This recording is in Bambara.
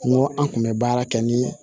N ko an kun bɛ baara kɛ ni